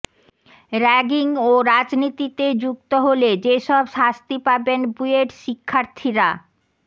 ragging ও রাজনীতিতে যুক্ত হলে যেসব শাস্তি পাবেন বুয়েট শিক্ষার্থীরা